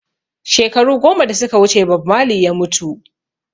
Shekaru goma da suka wuce Bob Marley ya mutu